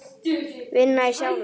Vinna í sjálfum sér.